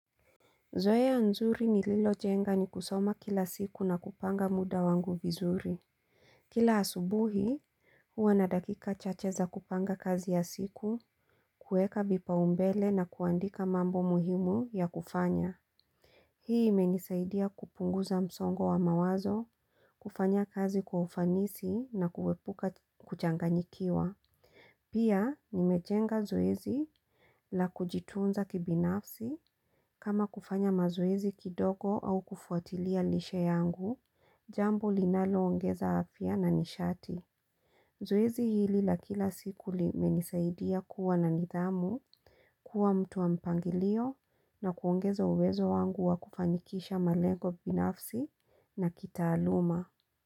Zoea nzuri ni lilo jenga ni kusoma kila siku na kupanga muda wangu vizuri. Kila asubuhi, huwa na dakika chache za kupanga kazi ya siku, kuweka vipa umbele na kuandika mambo muhimu ya kufanya. Hii imenisaidia kupunguza msongo wa mawazo, kufanya kazi kwa ufanisi na kuepuka kuchanganyikiwa. Pia nimejenga zoezi la kujitunza kibinafsi kama kufanya mazoezi kidogo au kufuatilia lishe yangu, jambo linalo ongeza afya na nishati. Zoezi hili la kila siku li menisaidia kuwa na nidhamu kuwa mtu wa mpangilio na kuongeza uwezo wangu wa kufanikisha malengo kibinafsi na kita aluma.